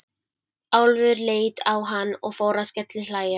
Álfur leit á hann og fór að skellihlæja.